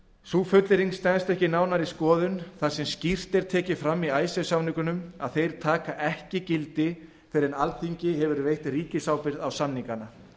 þessi fullyrðing stenst ekki nánari skoðun þar sem skýrt er tekið fram í icesave samningunum að þeir taki ekki gildi fyrr en alþingi hefur veitt ríkisábyrgð á samningana